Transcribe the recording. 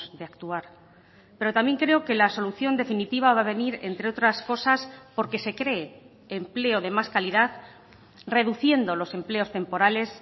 de actuar pero también creo que la solución definitiva va a venir entre otras cosas porque se cree empleo de más calidad reduciendo los empleos temporales